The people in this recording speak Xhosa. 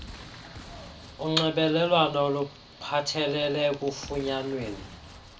unxibelelwano oluphathelele ekufunyanweni